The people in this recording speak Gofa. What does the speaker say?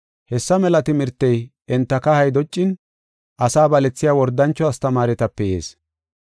Hessa mela timirtey enta kahay doccin, asaa balethiya wordancho astamaaretape yees.